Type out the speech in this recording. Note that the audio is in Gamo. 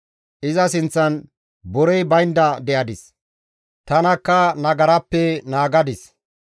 Iza sinththan borey baynda de7adis; tanakka nagarappe naagadis.